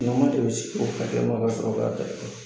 N'aw dɛ bɛ sigi o ka kɛnɔ ka sɔrɔ 'ka kɛlɛ kɛ